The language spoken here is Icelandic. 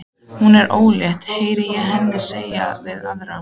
Hún er ólétt, heyri ég hana segja við aðra.